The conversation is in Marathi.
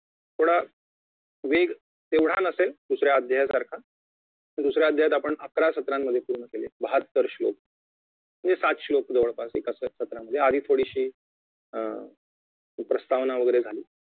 थोडा वेग तेवढा नसेल दुसऱ्या अध्यायासारखा दुसऱ्या अध्यायात आपण अकरा सत्रामध्ये पूर्ण केले बाहत्तर श्लोक म्हणजे सात श्लोक जवळपास एका सत्रामध्ये आधी थोडीशी अं प्रस्तावना वगैरे झाली